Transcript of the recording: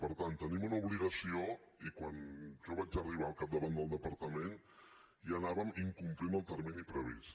per tant tenim una obligació i quan jo vaig arribar al capdavant del departament ja incomplíem el termini previst